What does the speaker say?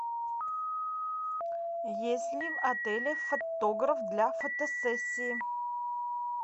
есть ли в отеле фотограф для фотосессии